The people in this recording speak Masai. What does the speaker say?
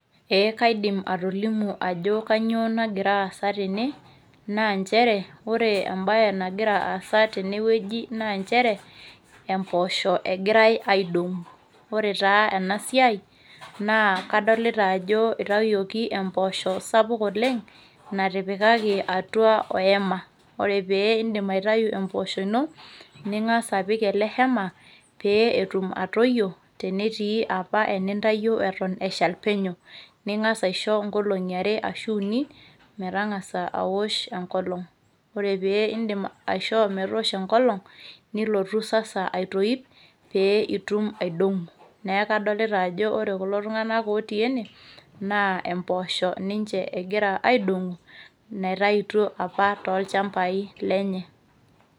Eeh kaidim atolimu ajo kanyoo nagira aasa tene, naa nchere ore embae nagira aasa tenewueji naa nchere empoosho egirai aidong'u. Ore taa ena siai naa kadolita ajo eitayoki empoosho sapuk oleng' natipikaki atua oema. Ore pee indim aitayu empoosho ino ning'as apik ele  hema pee etum atoyio tenetii apa enintayo eton eshal penyo ning'as aisho nkolong'i are ashuu uni metang'asa awosh enkolong'. Ore pee indim aishoo metoosho enkolong' nilotu sasa aitoip pee itum aidong'u. Neaku adolita ajo ore kulo tung'anak otii ene naa empoosho ninche egira aidong'u netaituo apa tolchambai lenye.